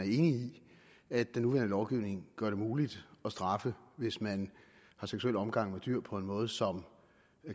i at den nuværende lovgivning gør det muligt at straffe hvis man har seksuel omgang med dyr på en måde som